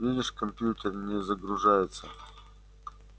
видишь компьютер не загружается